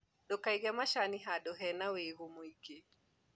Ndũkaige macani handũ hena wĩigũ mũingĩ.